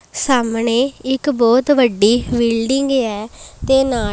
ਸਾਹਮਣੇ ਇੱਕ ਬਹੁਤ ਵੱਡੀ ਬਿਲਡਿੰਗ ਹੈ ਤੇ ਨਾਲ--